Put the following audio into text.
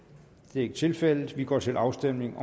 det er ikke tilfældet og vi går til afstemning